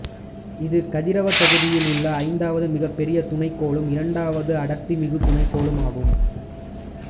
இது கதிரவ தொகுதியில் உள்ள ஐந்தாவது மிகப்பெரிய துணைக்கோளும் இரண்டாவது அடர்த்திமிகு துணைக்கோளும் ஆகும்